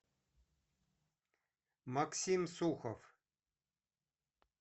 максим сухов